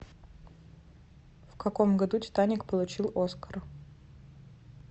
в каком году титаник получил оскар